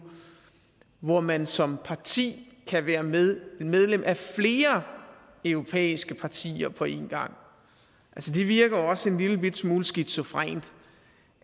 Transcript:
hvor man som parti kan være medlem medlem af flere europæiske partier på en gang det virker jo også en lillebitte smule skizofrent